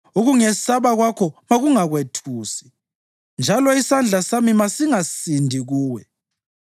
Ukungesaba kwakho makungakwethusi, njalo isandla sami masingasindi kuwe.